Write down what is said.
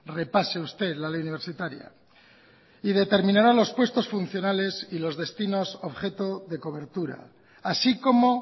repase usted la ley universitaria y determinará los puestos funcionales y los destinos objeto de cobertura así como